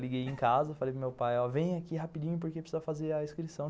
Liguei em casa, falei para meu pai, ó, vem aqui rapidinho, porque precisa fazer a inscrição.